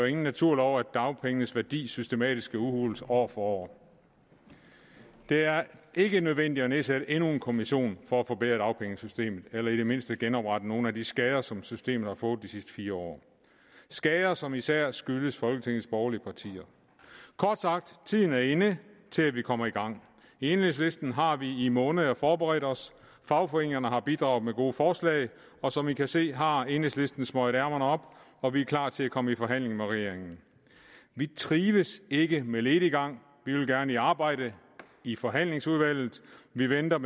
ingen naturlov at dagpengenes værdi systematisk skal udhules år for år det er ikke nødvendigt at nedsætte endnu en kommission for at forbedre dagpengesystemet eller i det mindste genoprette nogle af de skader som systemet har fået de sidste fire år skader som især skyldes folketingets borgerlige partier kort sagt tiden er inde til at vi kommer i gang i enhedslisten har vi i måneder forberedt os fagforeningerne har bidraget med gode forslag og som i kan se har enhedslisten smøget ærmerne op og vi er klar til at komme i forhandling med regeringen vi trives ikke med lediggang vi vil gerne arbejde i forhandlingsudvalget vi venter